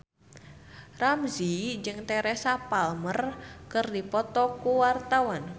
Ramzy jeung Teresa Palmer keur dipoto ku wartawan